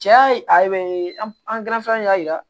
Cɛ ya a be an y'a yira